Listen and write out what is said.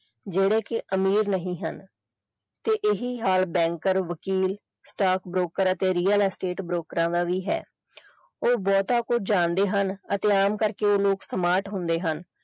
ਜਿਹੜੇ ਕਿ ਅਮੀਰ ਨਹੀਂ ਹਨ ਤੇ ਇਹੀ ਹਾਲ banker ਵਕੀਲ staff broker ਅਤੇ real estate ਬ੍ਰੋਕਰਾਂ ਦਾ ਵੀ ਹੈ ਉਹ ਬਹੁਤ ਕੁਝ ਜਾਣਦੇ ਹਨ ਅਤੇ ਆਮ ਕਰਕੇ ਇਹ ਲੋਕ smart ਹੁੰਦੇ ਹਨ।